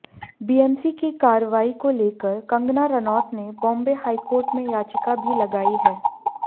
BMC की कार्रवाई को लेकर कंगना रनौत ने बॉम्बे हाईकोर्ट में याचिका भी लगाई है